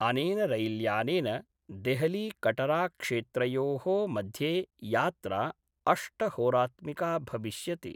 अनेन रैल्यानेन देहलीकटराक्षेत्रयो: मध्ये यात्रा अष्टहोरात्मिका भविष्यति।